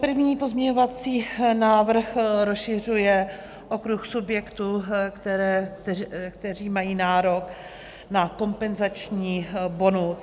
První pozměňovací návrh rozšiřuje okruh subjektů, které mají nárok na kompenzační bonus.